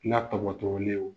N'a tɔkɔtooli ye o